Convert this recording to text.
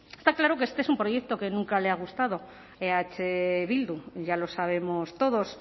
está claro que este es un proyecto que nunca le ha gustado a eh bildu ya lo sabemos todos